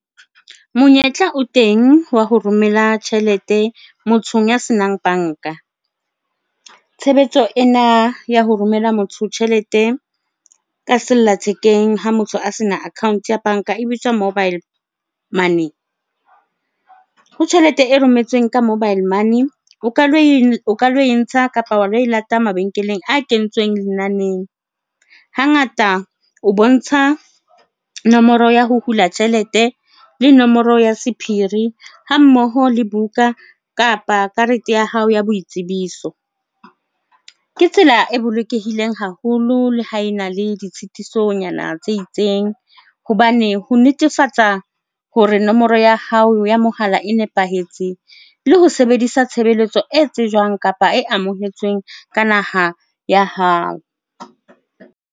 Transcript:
Monyetla o teng wa ho romela tjhelete mothong ya senang banka. Tshebetso ena ya ho romella motho tjhelete ka sella thekeng ha motho a se na account ya banka e bitswa mobile money. Ho tjhelete e rometsweng ka mobile money, o ka lo ko o lo e ntsha kapa wa lo e lata mabenkeleng a kentsweng lenaneng. Hangata o bontsha nomoro ya ho hula tjhelete, o le nomoro ya sephiri ha mmoho le buka kapa karete ya hao ya boitsebiso. Ke tsela e bolokehileng haholo le ha e na le ditshitisonyana tse itseng hobane ho netefatsa hore nomoro ya hao ya mohala e nepahetse le ho sebedisa tshebeletso e tsejwang kapa e amohetsweng ka naha ya hao.